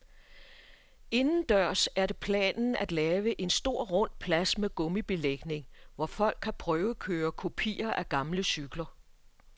Indendørs er det planen at lave en stor rund plads med gummibelægning, hvor folk kan prøvekøre kopier af gamle cykler.